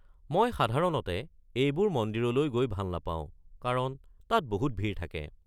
মই সাধাৰণতে এইবোৰ মন্দিৰলৈ গৈ ভাল নাপাওঁ কাৰণ তাত বহুত ভিৰ থাকে।